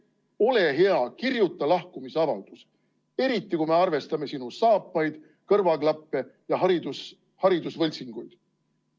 Ole hea, kirjuta lahkumisavaldus, eriti kui me arvestame sinu saapaid, kõrvaklappe ja hariduse võltsinguid.